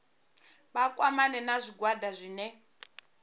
vha kwamane na zwigwada zwine